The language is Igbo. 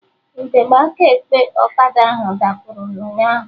Ugegbe aka ekpe ọkada ahụ dapụrụ ụnyaahụ